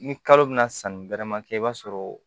Ni kalo bɛ na sanni bɛrɛma kɛ i b'a sɔrɔ